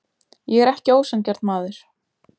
Ég er ekki ósanngjarn maður.